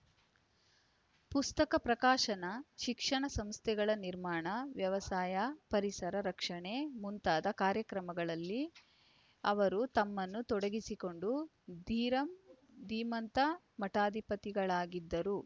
ಪುಸ್ತಕ ಪ್ರಕಾಶನ ಶಿಕ್ಷಣ ಸಂಸ್ಥೆಗಳ ನಿರ್ಮಾಣ ವ್ಯವಸಾಯ ಪರಿಸರ ರಕ್ಷಣೆ ಮುಂತಾದ ಕಾರ್ಯಗಳಲ್ಲಿ ಅವರು ತಮ್ಮನ್ನು ತೊಡಗಿಸಿಕೊಂಡ ಧೀರಂ ಧೀಮಂತ ಮಠಾಧಿಪತಿಗಳಾಗಿದ್ದರು